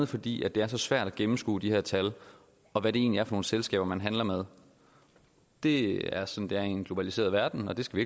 fordi det er så svært at gennemskue de her tal og hvad det egentlig er for nogle selskaber man handler med det er som det er i en globaliseret verden og det skal